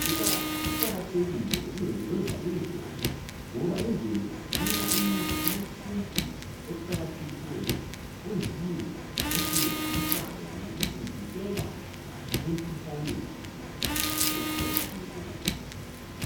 Kuqakathekile ukulondoloza imvelo ngoba imvelo isinika umuthi wesintu oqakathekileyo oyiwo osincedisayo ngokusivikela emikhuhlaneni otshiyatshiyeneyo